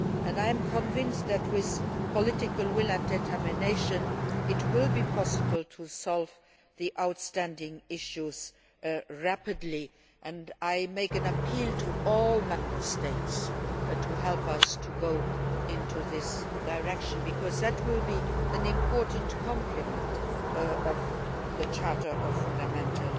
I am convinced that, with political will and determination, it will be possible to solve the outstanding issues rapidly. I make an appeal to all Member States to help us to go in this direction, because this will be an important complement to the Charter of Fundamental